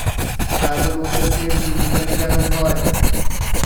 Ta določa smer družbenega razvoja.